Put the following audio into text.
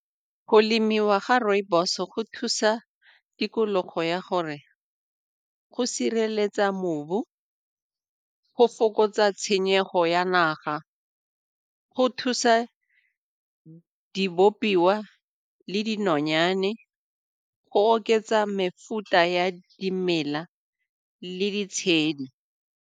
Go lemiwa ga rooibos go thusa tikologo ya gore go sireletsa mobu, go fokotsa tshenyego ya naga, go thusa di bopiwa le dinonyane go oketsa mefuta ya dimela le ditshedi.